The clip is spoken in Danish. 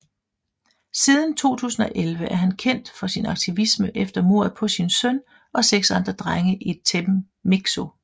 Siden 2011 er han kendt for sin aktivisme efter mordet på sin søn og seks andre drenge i Temixco